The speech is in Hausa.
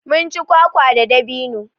Munci kwakwa da dabino